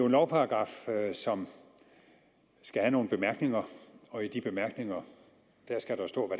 lovparagraf som skal have nogle bemærkninger og i de bemærkninger skal der stå